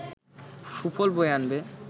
সুফল বয়ে আনবে